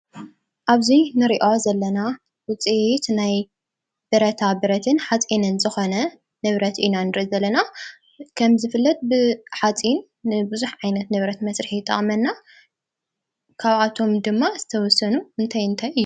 ኣብዚ ንሪኦ ዘለና ውፅኢት ናይ ብረታ ብረትን ሓፂንን ዝኾነ ንብረት ኢና ንርኢ ዘለና፡፡ ከምዝፍለጥ ብሓፂን ንብዙሕ ዓይነት ንብረት መስርሒ ይጠቕመና። ካብኣቶም ድማ ዝተወሰኑ እንታይ እንታይ እዮም?